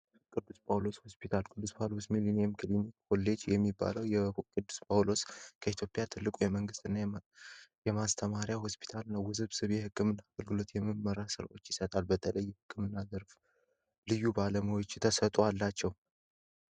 ቅዱስ ጳውሎስ ሆስፒታል ቅዱስ 2 ሚሊኒየም ክሊኒክ ኮሌጅ የሚባለው ቅዱስ ጳውሎስ ከኢትዮጵያ ትልቁ የመንግስት እና የማስተማሪያ ሆስፒታል እነው ውብስብ የሕክምን አገልግሎት የምመርመራ ሥራዎች ይሰጣል በተለይ የሕክምና ዝርፍ ልዩ ባለመዎች ተሰጡ አላቸው።